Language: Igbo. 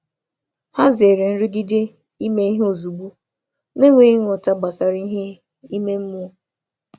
Hà zèrè nrụgide ime ihe ozugbo n’enweghị nghọta gbasàra ihe ime mmụọ.